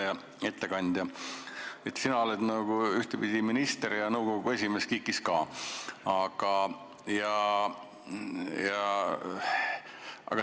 Hea ettekandja, sina oled ühtepidi minister ja ka nõukogu esimees KIK-is.